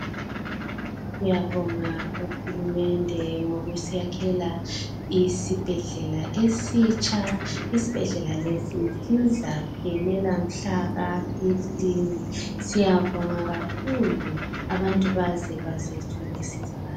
Ngiyabonga uhulumende ngokusiyakhela isibhedlela esitsha isibhedlela lesi sizaphela mhlaka 15 siyabonga kakhulu abantu baze baze bazothola ukusizakala.